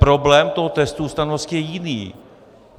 Problém toho testu ústavnosti je jiný.